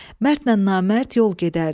Mərdlə namərd yol gedərdi.